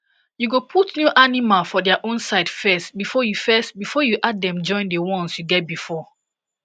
you go put new animal for their own side first before you first before you add den join the ones you get before